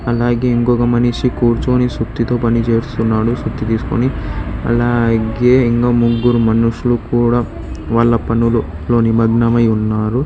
అలాగే ఇంకొక మనిషి కూర్చొని సుత్తితో పని చేస్తున్నాడు సుత్తి తీసుకొని అలాగే ఇంకో ముగ్గురు మనుషులు కూడ వాళ్ళ పనులు లో నిమగ్నమై ఉన్నారు.